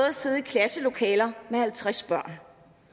at sidde i klasselokaler med halvtreds børn